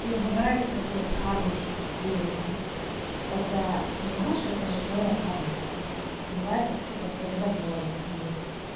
не бывает такого карму чтобы тебе её очистили это понимаешь это же твоя карма это как бывает вообще как-то родовое твоё